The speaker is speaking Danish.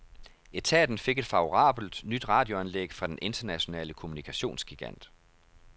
Etaten fik et favorabelt, nyt radioanlæg fra den internationale kommunikationsgigant.